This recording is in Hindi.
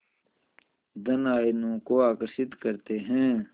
धन आयनों को आकर्षित करते हैं